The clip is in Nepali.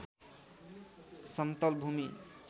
समतल भूमी